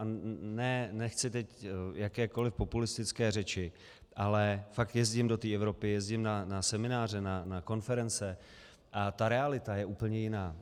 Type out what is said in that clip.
A nechci teď jakékoliv populistické řeči, ale fakt jezdím do té Evropy, jezdím na semináře, na konference, a ta realita je úplně jiná.